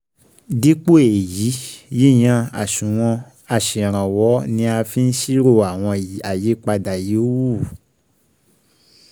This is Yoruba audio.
Dípò èyí, yíyan àṣùwọ̀n aṣèrànwọ́ ni a fi ń ṣírò àwọn àyípadà yòówù